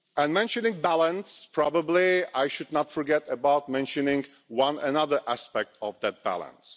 Mentioning balance, I probably should not forget to mention one other aspect of that balance.